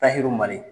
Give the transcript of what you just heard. Tayirimali